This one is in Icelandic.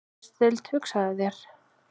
Fræðsludeild, hugsaðu þér!